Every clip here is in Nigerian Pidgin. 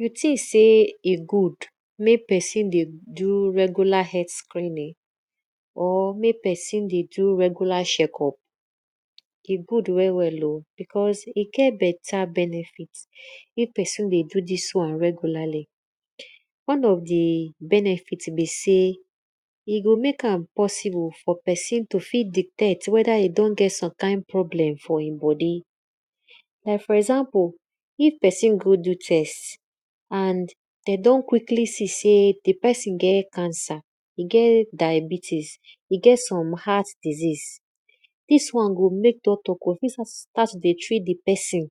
Di thing sey e good mek psin dey do regular screening, mek pesin dey do regular checkup, e good well well o. because e get beta benefit if pesin dey do dis wan regularly. Oe of di benefit be sey e go mek am possible for pesin to fit detect weda e don get some kind problem for e bodi. Like for example if pesin go do test and de don see sey e get cancer, e get diabetics, get heart disease, dis won go mek doctor start to dey treat di pesin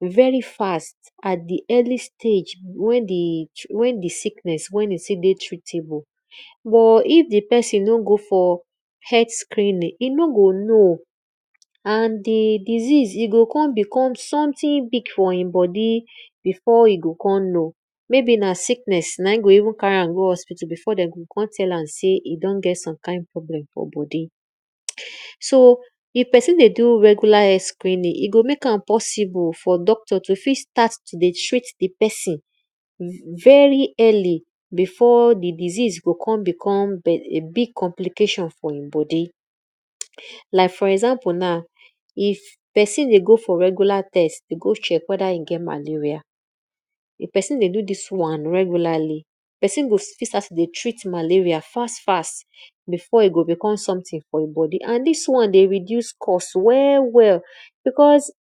very fast at di early stage wen e still dey wen di sickness still dey treatable. But if di pesin no go for health screening, e no go know, e go kon become big for e bodi before e go kon know. Maybe na sickness na in go carry am go hospital before de o kon tell am sey e don get some kind problem for bodi. So if pesin dey do regular health screening, e gho mek m possible for doctor to begin start to treat di pesin very early before di disease go kon become big complication for e bodi. Like for exa, ple now, if pesin dey go for maleria test dey go check weda e get malaria, if pesindey do dis wan regularly, pesin fit start to dey treat malaria fast fast before e go become something for e bodi and dis wan dey reduce cost well well because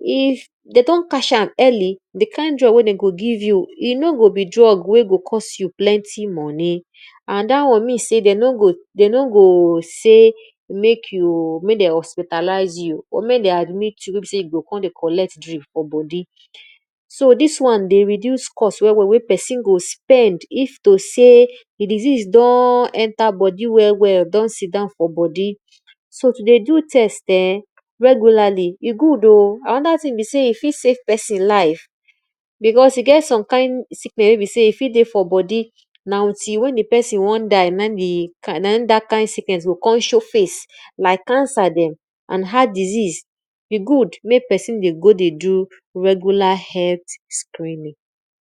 if de don catch am early, e no go give you drug wey go cost plenty moni and dat won mean sey de no go sey mek dem hospitalize you or mek dem admit you wey be seyde kon dey give you drug for bodi so dis won dey reduce cost well well if to sey pesin go spend if di diseae don enter bodi well well so to dey do test[um], e good oh anoda thing be sey e fit save pesin life because e get some kind siceness wey be sey e fit dey for bodi na till wen di pesin won die na in dat kind sickness go show face like cancer dem, heart disease e good mek pesin dey do regular health screening.